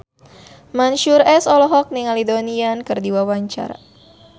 Mansyur S olohok ningali Donnie Yan keur diwawancara